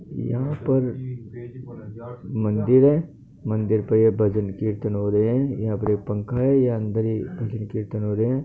यहा पर मंदिर है मंदिर पे ये भजन कीर्तन हो रहे है यह पे पंखा है यहा अंदर ही कीर्तन कर रहे है।